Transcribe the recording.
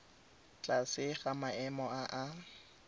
tlase ga maemo a a